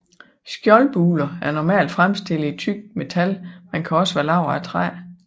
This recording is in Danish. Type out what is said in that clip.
Skjoldbuler er normalt fremstillet i tykt metal men kan også være lavet af træ